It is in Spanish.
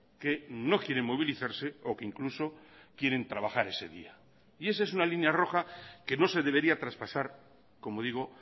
que no quieren movilizarse o que incluso quieren trabajar ese día y esa es una línea roja que no se debería traspasar como digo